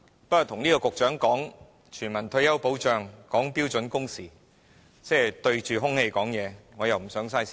不過，跟這個局長談全民退休保障和標準工時，即是對着空氣說話，我又不想浪費時間。